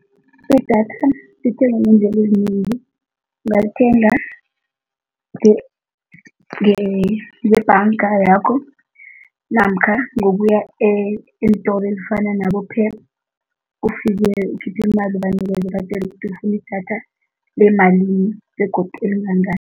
Idatha lithengwa ngeendlela ezinengi, ungalithenga ngebhanga yakho namkha ngokuya eentolo ezifana nabo-Pep, ufike ukhiphe imali ubanikele ubatjele ukuthi ufuna idatha lemalini begodu elingangani.